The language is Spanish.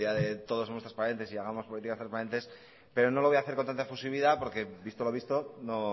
del día de todos somos transparentes y hagamos políticas transparentes pero no lo voy a hacer con tanta efusividad porque visto lo visto no